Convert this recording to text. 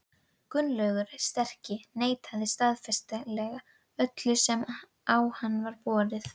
Gunnlaugur sterki neitaði staðfastlega öllu sem á hann var borið.